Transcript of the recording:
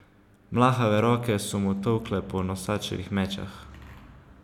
Mlahave roke so mu tolkle po nosačevih mečah.